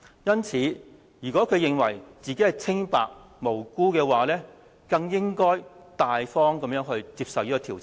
因此，如果他認為自己是清白無辜的話，更應該大方接受調查。